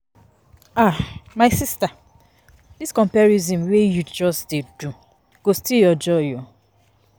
um My sista dis comparison wey you um dey do go steal your joy o.